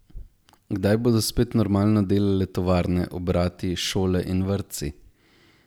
Kdaj bodo spet normalno delale tovarne, obrati, šole in vrtci?